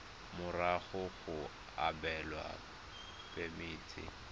morago ga go abelwa phemiti